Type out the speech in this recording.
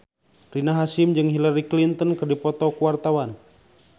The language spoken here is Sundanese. Rina Hasyim jeung Hillary Clinton keur dipoto ku wartawan